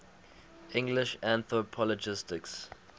english anthropologists